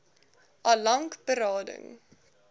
al lank berading